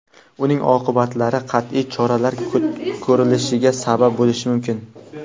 uning oqibatlari qat’iy choralar ko‘rilishiga sabab bo‘lishi mumkin.